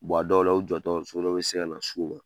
Bɔn a dɔw la u jɔtɔ so dɔ be se ka na s'u ma